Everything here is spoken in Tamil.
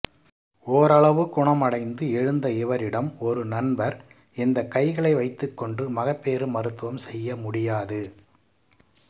ஓரளவு குணமடைந்து எழுந்த இவரிடம் ஒரு நண்பர் இந்தக் கைகளை வைத்துக்கொண்டு மகப்பேறு மருத்துவம் செய்ய முடியாது